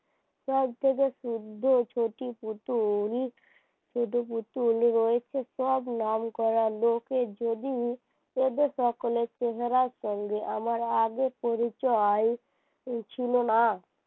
সব ছোট পুতুল রয়েছে সব নামকরা লোকের এদের সঙ্গে যদি আমার আগে পরিচয় ছিল না